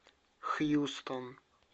хьюстон